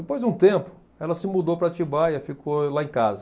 Depois de um tempo, ela se mudou para Atibaia, ficou lá em casa.